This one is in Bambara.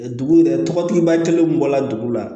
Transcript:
Dugu yɛrɛ tɔgɔtigi b'a kelenw bɔla dugu la